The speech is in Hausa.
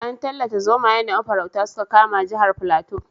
An tallata zomayen da mafaurata suka kama jihar Fulato.